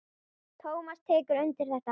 Tómas tekur undir þetta.